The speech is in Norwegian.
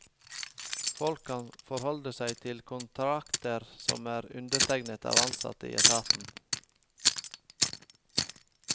Folk kan forholde seg til kontrakter som er undertegnet av ansatte i etaten.